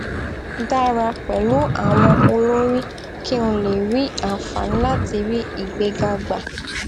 dára pèlú àwọn olórí kí n lè ní ànfààní láti rí ìgbéga gbà